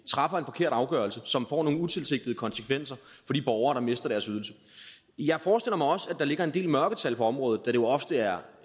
træffer en forkert afgørelse som får nogle utilsigtede konsekvenser for de borgere der mister deres ydelse jeg forestiller mig også at der ligger en del mørketal på området da det jo ofte er